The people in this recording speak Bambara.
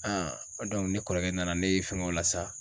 An ko dɔnku ne kɔrɔkɛ nana nee fɛngɛ o la sa